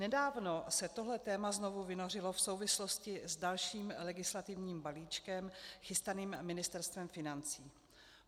Nedávno se toto téma znovu vynořilo v souvislosti s dalším legislativním balíčkem chystaným Ministerstvem financí.